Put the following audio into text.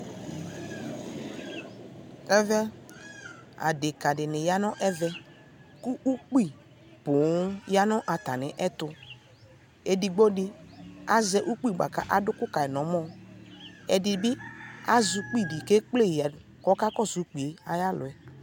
ɛvɛ adɛka dini yanʋ ɛvɛ kʋ ʋkpi pɔɔm yanʋ atani ɛtʋ, ɛdigbɔ di azɛ ʋkpi kʋ atʋ ʋkʋ kayi nʋ ɔmɔ, azɛ ʋkpi di kʋ ɛkplɛ kɛ kplɛyi ya kʋ ɔkakɔsʋ ʋkpiɛ ayi alʋɛ